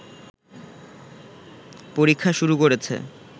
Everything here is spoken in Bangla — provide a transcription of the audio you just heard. পরীক্ষা শুরু করেছে